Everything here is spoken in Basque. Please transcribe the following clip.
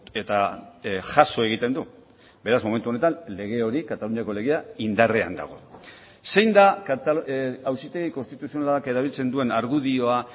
eta jaso egiten du beraz momentu honetan lege hori kataluniako legea indarrean dago zein da auzitegi konstituzionalak erabiltzen duen argudioa